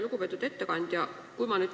Lugupeetud ettekandja!